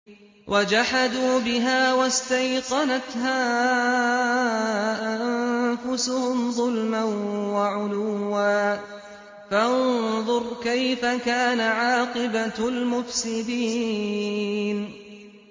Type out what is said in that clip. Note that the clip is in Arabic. وَجَحَدُوا بِهَا وَاسْتَيْقَنَتْهَا أَنفُسُهُمْ ظُلْمًا وَعُلُوًّا ۚ فَانظُرْ كَيْفَ كَانَ عَاقِبَةُ الْمُفْسِدِينَ